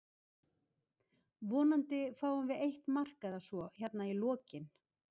Vonandi fáum við eitt mark eða svo hérna í lokinn.